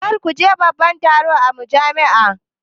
Kar ku je babban taro na jami'a